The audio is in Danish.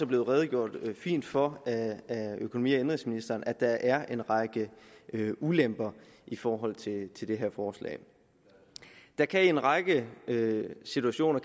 blevet redegjort fint for af økonomi og indenrigsministeren om at der er en række ulemper i forhold til det her forslag det kan i en række situationer